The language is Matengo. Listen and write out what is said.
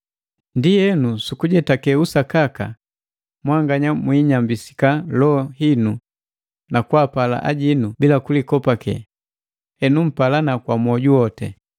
Ndienu, sukujetake usakaka, mwanganya muinyambisika loho hinu na kwaapala ajinu bila kulikopake, henu mpalana kwa mwoju wote.